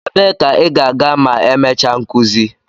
Ebee ka ị ga-aga ma emechaa nkuzi?